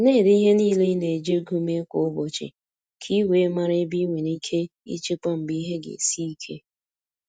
Na-ede ihe niile i na-eji ego mee kwa ụbọchị, ka i wee mara ebe i nwere ike ichekwa mgbe ihe ga esi ike.